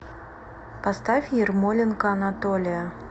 поставь ярмоленко анатолия